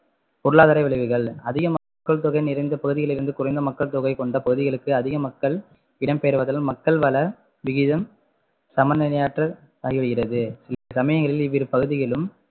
பொருளாதார விளைவுகள் அதிக மக்கள் தொகை நிறைந்த பகுதியில் இருந்து குறைந்த மக்கள் தொகை கொண்ட பகுதிகளுக்கு அதிக மக்கள் இடம்பெயர்வதால் மக்கள் வளவிகிதம் சமநிலையற்று ஆகிவிடுகிறது இச்சமயங்களில் இவ்விரு பகுதிகளிலும்